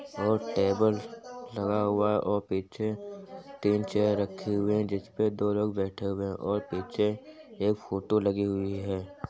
और टेबल लगा हुआ है और पीछे तीन चेयर रखे हुए हैं जिस पे दो लोग बैठे हुए हैं और पीछे एक फोटो लगी हुई है।